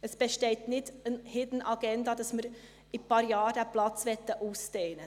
Es besteht keine «Hidden Agenda», wonach wir in ein paar Jahren diesen Platz ausdehnen möchten.